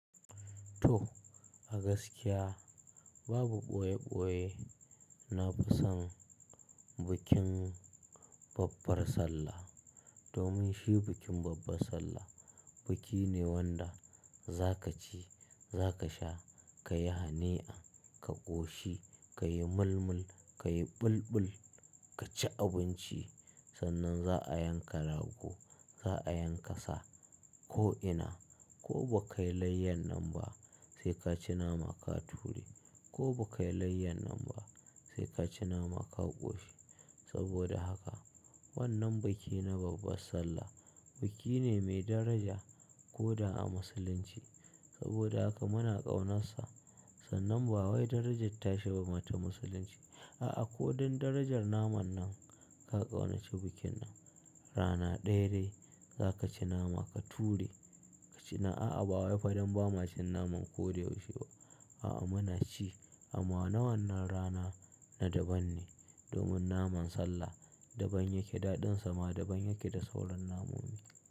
To a gaskiya babu ɓoye ɓoye na fi son bikin babbar sallah. Domin shi bikin babbar sallah biki ne wanda za ka ci, za ka sha, ka yi hani'a, ka ƙoshi, ka yi mulmul, ka yi ɓulɓul, ka ci abinci. Sannan za a yanka rago, za a yanka sa ko ina. Ko ba ka yi layyar nan ba sai ka ci nama ka ture. Ko ba ka yi layyar nan ba sai ka ci nama ka ƙoshi. Saboda haka wannan biki na babbar sallah biki ne mai daraja ko da a musulunci. Saboda haka muna ƙaunarsa. Sannan ba wai darajar tashi ba ma ta musulunci. A'a ko don darajar naman nan ka ƙaunaci bikin nan. Rana ɗaya dai za ka ci nama ka ture. A'a ba wai fa don ba mu ci naman ko yaushe ba. A'a muna ci amma na wannan rana na daban ne. Domin naman sallah daban yake daɗinsa ma daban yake da sauran namomi.